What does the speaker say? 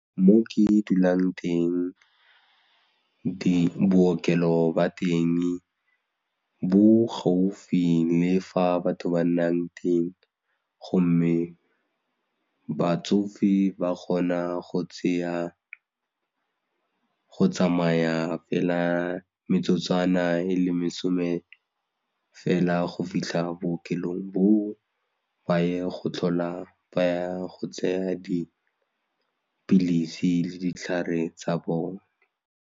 Mo ke dulang teng bookelo jwa teng bo gaufi le fa batho ba nnang teng gomme batsofe ba kgona go tseya go tsamaya fela metsotswana e le masome fela go fitlha bookelong boo baye go tlhola ba go tsaya dipilisi le ditlhare tsa bone.